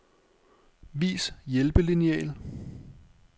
Vis hjælpelineal.